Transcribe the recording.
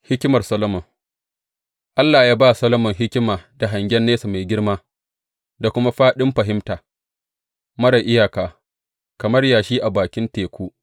Hikimar Solomon Allah ya ba Solomon hikima da hangen nesa mai girma, da kuma fāɗin fahimta marar iyaka, kamar yashi a bakin teku.